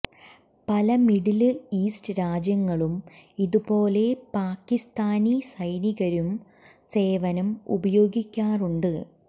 പല Middle East രാജ്യങ്ങളും ഇതുപോലെ പാകിസ്താനി സൈനികരു സേവനം ഉപയോഗിക്കാറുണ്ട്